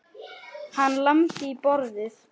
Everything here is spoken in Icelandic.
Hann lamdi í borðið.